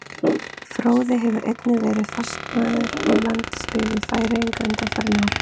Fróði hefur einnig verið fastamaður í landsliði Færeyja undanfarin ár.